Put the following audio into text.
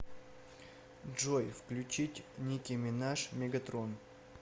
джой включить ники минаж мегатрон